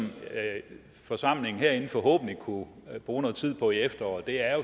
forsamlingen herinde forhåbentlig kunne bruge noget tid på i efteråret er